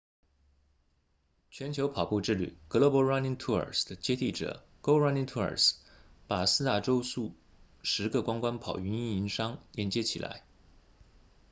全球跑步之旅 global running tours 的接替者 go running tours 把四大洲数十个观光跑运营商连接起来